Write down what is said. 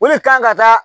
O de kan ka taa